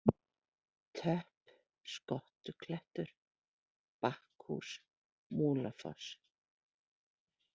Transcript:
Töpp, Skottuklettur, Bakkhús, Múlafoss